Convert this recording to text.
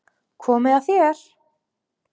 Komið að þér.